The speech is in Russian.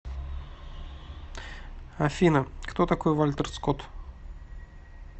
афина кто такой вальтер скотт